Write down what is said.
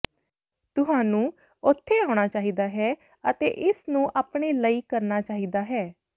ਤੁਹਾਨੂੰ ਉੱਥੇ ਆਉਣਾ ਚਾਹੀਦਾ ਹੈ ਅਤੇ ਇਸ ਨੂੰ ਆਪਣੇ ਲਈ ਕਰਨਾ ਚਾਹੀਦਾ ਹੈ